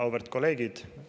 Auväärt kolleegid!